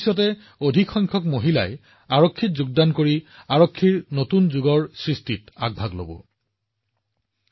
কেইবছৰমান আগলৈকে যেতিয়াই ড্ৰোনৰ নাম লোৱা হৈছিল মানুহৰ মনত প্ৰথম অনুভৱ কি আছিল সেনাৰ অস্ত্ৰশস্ত্ৰ যুদ্ধৰ